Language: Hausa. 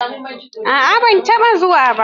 A'a bai taɓa zuwa ba.